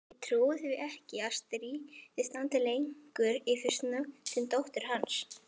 Ég trúi því ekki að stríðið standi lengi yfir snökti dóttir hans.